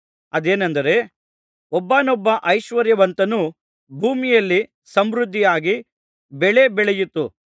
ಅದೇನೆಂದರೆ ಒಬ್ಬಾನೊಬ್ಬ ಐಶ್ವರ್ಯವಂತನ ಭೂಮಿಯಲ್ಲಿ ಸಮೃದ್ಧಿಯಾಗಿ ಬೆಳೆ ಬೆಳೆಯಿತು